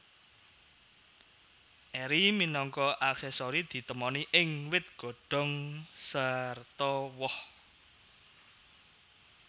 Eri minangka aksesori ditemoni ing wit godhong sarta woh